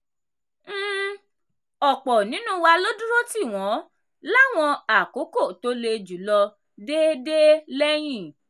um ọ̀pọ̀ nínú wa ló dúró tì wọ́n láwọn àkókò tó le jù lọ dé dé lẹ́yìn.